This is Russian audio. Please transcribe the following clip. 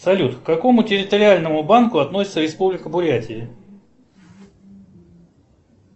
салют к какому территориальному банку относится республика бурятия